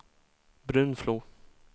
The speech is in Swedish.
Brunflo